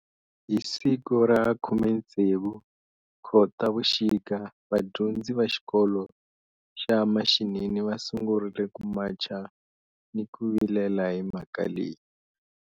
Hi siku ra khumetsevu kotavuxika va dyondzi va xikolo xa mashinini va sungurile ku macha ni ku vilela hi mhaka leyi.